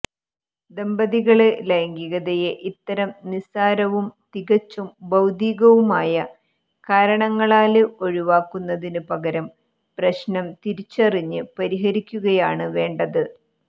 ദമ്പതികള് ലൈംഗികതയെ ഇത്തരം നിസാരവും തികച്ചും ഭൌതികവുമായ കാരണങ്ങളാല് ഒഴിവാക്കുന്നതിന് പകരം പ്രശ്നം തിരിച്ചറിഞ്ഞ് പരിഹരിക്കുകയാണ് വേണ്ടത്